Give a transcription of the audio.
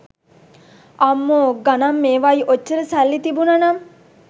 අම්මෝ ගනන් මේවයි ඔච්චර සල්ලි තිබුනානම්